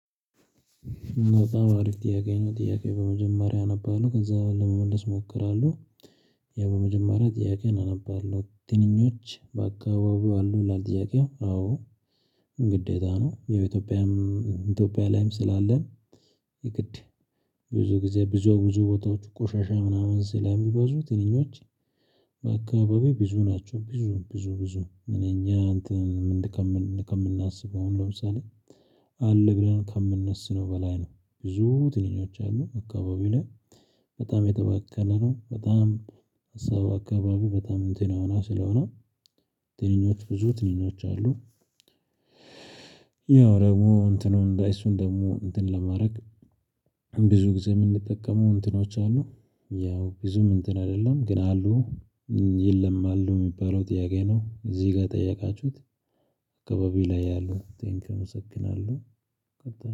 በጣም አሪፍ ጥያቄ ነው ጥያቄ በመጀመሪያ አነባለሁ ከዛ ለመመለስ እሞክራለሁ። ያ በመጀመሪያ ጥያቄን አነባለሁ ትንኞች በአካባቢው አሉ። ላል ጥያቄው አዎ። ግዴታ ነው። ያው ኢትዮጵያ ላይም ስላለን የግድ ብዙ ጊዜ ብዙ ቦታዎች ቆሻሻ ምናምን ስለሚበዙ ትንኞች። በአካባቢው ብዙ ናቸው። ብዙ ብዙ ብዙ እኛ እንትን። ከምናስበው ለምሳሌ አለ ብለን ከምናስበው በላይ ነው። ብዙ ትንኞች አሉ አካባቢ ላይ። በጣም የተባከለ ነው። በጣም አካባቢው በጣም እንትን የሆና ስለሆነ። ትንኞች ብዙ ትንኞች አሉ። ያው ደግሞ እንትኑን እሱን ደግሞ እንትን ለማድረግ ብዙ ጊዜ የምንጠቀመው እንትኖች አሉ። ያው ብዙም እንትን አይደለም ግን አሉ። የለም አሉ የሚባለውን ጥያቄ ነው። እዚህ ጋር የጠየቃችሁት? አካባቢው ላይ አሉ ቴንክዩ አመሰግናለሁ።